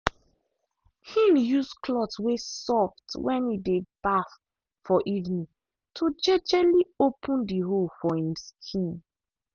him use cloth way soft when e dey baff for evening to jejely open the hole for him skin.